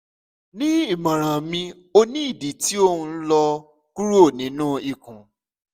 ni imọran mi o ni idi ti o nlọ kuro ninu ikun